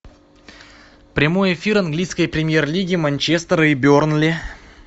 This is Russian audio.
прямой эфир английской премьер лиги манчестера и бернли